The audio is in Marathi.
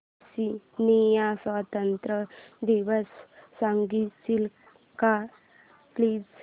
टांझानिया स्वतंत्रता दिवस सांगशील का प्लीज